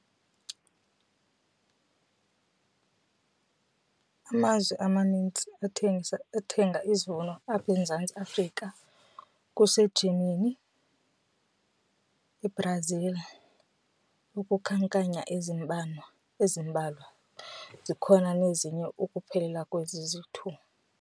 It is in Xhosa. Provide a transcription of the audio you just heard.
Amazwe amanintsi athenga izivuno apha eMzantsi Afrika kuseGermany, iBrazil ukuzikhankanya ezimbalwa zikhona nezinye ukuphelelwa kwezi ziyi-two.